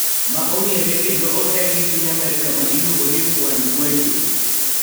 Ma ong`ere kendo oher gi piny Amerka ma iluongo ni Juan Guaido